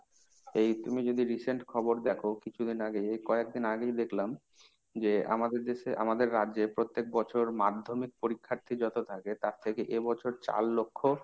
এই তুমি যদি recent খবর দেখো কিছুদিন আগে, কয়েকদিন আগেই দেখলাম যে আমাদের দেশে, আমাদের রাজ্যে প্রত্যেক বছর madhyamik পরীক্ষার্থী যত থাকে তার থেকে এ বছর চার লক্ষ